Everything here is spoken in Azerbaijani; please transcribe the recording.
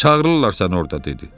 Çağırırlar səni orda dedi.